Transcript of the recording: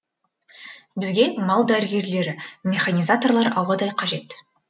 бізге мал дәрігерлері механизаторлар ауадай қажет